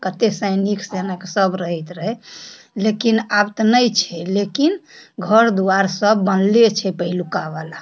कतेक सैनिक सेना के सब रहित रहे लेकिन आवत नाइ छे लेकिन घर दुआर सब बनले छे पहेलका वाला।